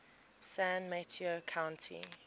san mateo county